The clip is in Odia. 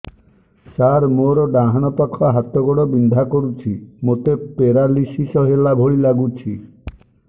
ସାର ମୋର ଡାହାଣ ପାଖ ହାତ ଗୋଡ଼ ବିନ୍ଧା କରୁଛି ମୋତେ ପେରାଲିଶିଶ ହେଲା ଭଳି ଲାଗୁଛି